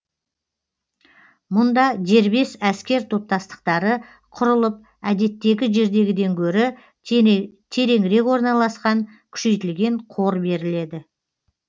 мұнда дербес әскер топтастықтары құрылып әдеттегі жердегіден гөрі теренірек орналасқан күшейтілген қор беріледі